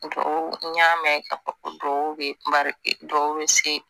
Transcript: Du n y'a mɛn ka du dɔw bɛ dɔw bɛ se